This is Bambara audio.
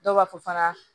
Dɔw b'a fɔ fana